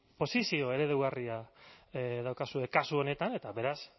posizio eredugarria daukazue kasu honetan eta beraz